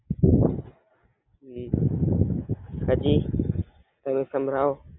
હાજી તમે સંભળાવો.